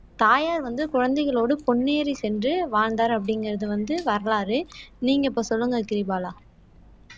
தாயார் வந்து குழந்தைகளோடு பொன்னேரி சென்று வாழ்ந்தார் அப்படிங்கிறது வந்து வரலாறு நீங்க இப்ப சொல்லுங்க கிரிபாலா